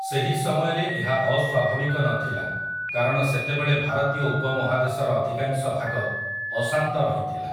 ସେହି ସମୟରେ ଏହା ଅସ୍ୱାଭାବିକ ନଥିଲା କାରଣ ସେତେବେଳେ ଭାରତୀୟ ଉପମହାଦେଶର ଅଧିକାଂଶ ଭାଗ ଅଶାନ୍ତ ରହିଥିଲା ।